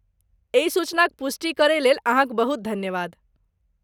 एहि सूचनाक पुष्टि करयलेल अहाँक बहुत धन्यवाद।